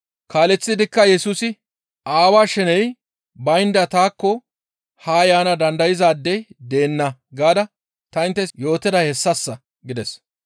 Kaaleththidikka Yesusi, «Aawaa sheney baynda taakko haa yaana dandayzaadey deenna gaada ta inttes yootiday hessassa» gides.